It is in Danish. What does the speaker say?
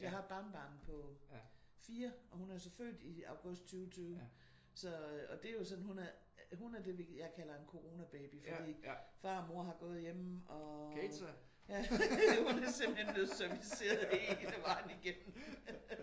Jeg har et barnebarn på 4 og hun er så født i august 2020 så og det er jo sådan hun er det jeg kalder en coronababy fordi far og mor har gået hjemme og hun er simpelthen blevet serviceret hele vejen igennem